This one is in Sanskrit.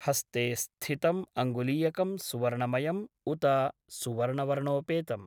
हस्ते स्थितम् अङ्गुलीयकं सुवर्णमयम् उत सुवर्णवर्णोपेतम् ?